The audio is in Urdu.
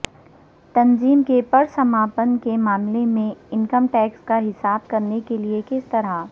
تنظیم کے پرسماپن کے معاملے میں انکم ٹیکس کا حساب کرنے کے لئے کس طرح